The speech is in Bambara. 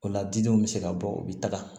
O la didenw bɛ se ka bɔ u bɛ taga